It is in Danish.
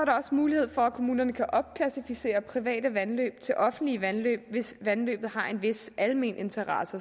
mulighed for at kommunerne kan opklassificere private vandløb til offentlige vandløb hvis vandløbet har en vis almen interesse